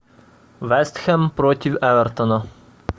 вест хэм против эвертона